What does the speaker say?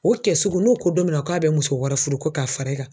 O kɛ sugu n'o ko don min na k'a bɛ muso wɛrɛ fudu ko k'a fara i ka